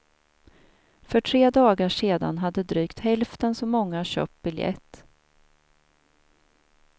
För tre dagar sedan hade drygt hälften så många köpt biljett.